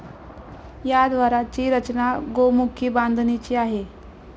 या द्वाराची रचना गोमुखी बांधणीची आहे.